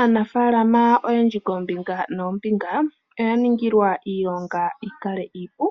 Aanafaalama oyendji koombinga noombinga oya ningilwa iilonga yikale iipu